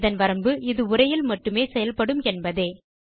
இதன் வரம்பு இது உரையில் மட்டுமே செயல்படும் என்பதே